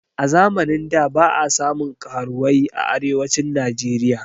A zamanin da ba a samun karuwai a arewacin najeriya